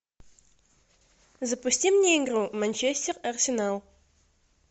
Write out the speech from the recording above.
запусти мне игру манчестер арсенал